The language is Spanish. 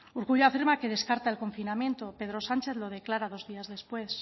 urkullu afirma que descarta el confinamiento pedro sánchez lo declara dos días después